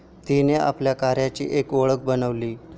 तिने आपल्या कार्याची एक ओळख बनवली.